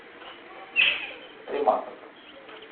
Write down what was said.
тремасов